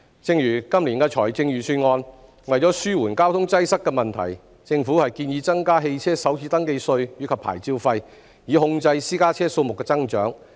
正如今年的財政預算案，為紓緩交通擠塞的問題，政府建議增加汽車首次登記稅及牌照費，以控制私家車數目的增長。